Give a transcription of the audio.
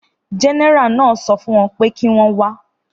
Gẹ́nẹ́rà náà sọ fún wọ́n pé kí wọ́n wá